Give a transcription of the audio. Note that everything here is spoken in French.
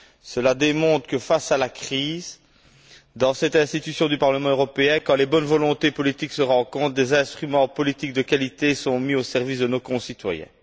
Cela démontre que, face à la crise, dans cette institution du Parlement européen, quand les bonnes volontés politiques se rencontrent, des instruments politiques de qualité sont mis au service de nos concitoyens.